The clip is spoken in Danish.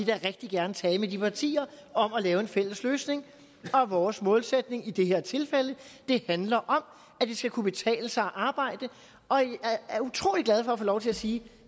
da rigtig gerne tale med de partier om at lave en fælles løsning og vores målsætning i det her tilfælde handler om at det skal kunne betale sig at arbejde jeg er utrolig glad for at få lov til at sige